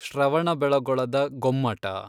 ಶ್ರವಣಬೆಳಗೊಳದ Gommata